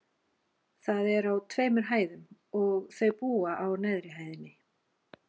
Það er á tveimur hæðum, og þau búa á neðri hæðinni.